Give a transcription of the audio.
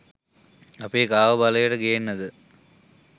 අපි කාව බලයට ගේන්නද